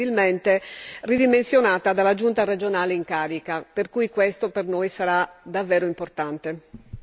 è stata incomprensibilmente ridimensionata dalla Giunta regionale in carica, per cui questo per noi sarà davvero importante.